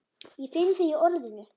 Ég finn þig í orðinu.